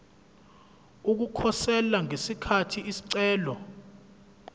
ukukhosela ngesikhathi isicelo